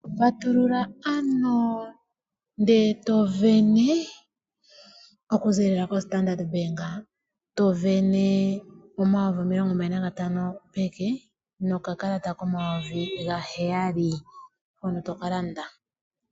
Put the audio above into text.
Patulula ano nde to sindana okuzilila ko Standard Bank to sindana N$25,000 peke no kakalata ko N$7000 hono to kalande.